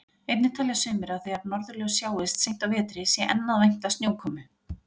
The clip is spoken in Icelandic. Einnig telja sumir að þegar norðurljós sjáist seint á vetri sé enn að vænta snjókomu.